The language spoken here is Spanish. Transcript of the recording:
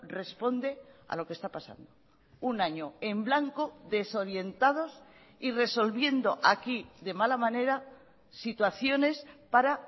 responde a lo que está pasando un año en blanco desorientados y resolviendo aquí de mala manera situaciones para